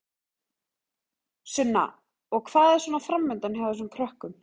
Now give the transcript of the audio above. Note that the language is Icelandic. Sunna: Og hvað er svona framundan hjá þessum krökkum?